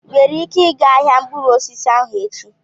Ị nwere ike ịga ahịa mkpụrụ osisi ahụ echi?